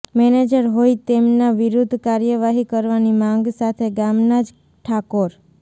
manager હોઇ તેમના વિરૃધ્ધ કાર્યવાહી કરવાની માંગ સાથે ગામના જ ઠાકોર